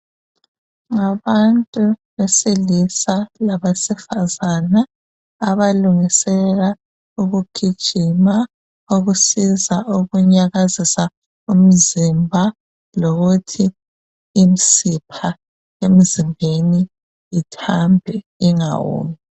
Ngabantu besilisa labesifazane abalungisela ukugijima ukusiza ukunyakazisa umzimba lokuthi imsipha emzimbeni ithambe ingawomi